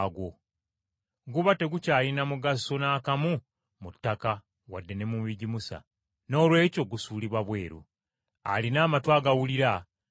Guba tegukyalina mugaso n’akamu mu ttaka wadde ne mu bigimusa, noolwekyo gusuulibwa bweru. Alina amatu agawulira awulire.”